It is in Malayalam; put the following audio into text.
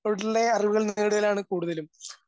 അറിവുകൾ കൂടുതലും